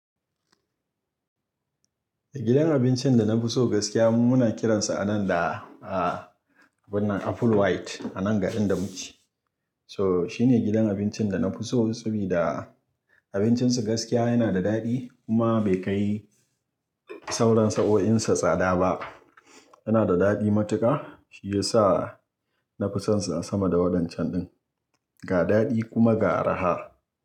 Gidan abincin da na fi so gaskiya mu muna kiransa a nan da, a wannan Apple White, a nan garin da muke. So shine gidan abincin da na fi so sabida abincinsa gaskiya yana da daɗi kuma bai kai sauran sa'o'insa tsada ba. Yana da daɗi matuƙa shi ya sa na fi sonsa sama da waɗannan can ɗin. Ga daɗi kuma ga arha.